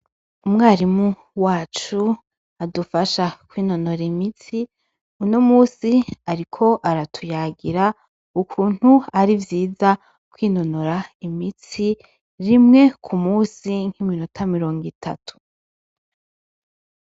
Umwarimu wacu adufasha kwinonora imitsi unomunsi ariko aratuyagira ukuntu arivyiza kwinonora imitsi rimwe kumunsi nkiminota mirongo itatu.